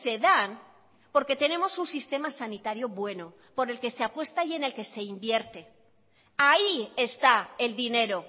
dan porque tenemos un sistema sanitario bueno por el que se apuesta y en el que se invierte ahí está el dinero